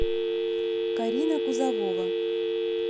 карина кузовова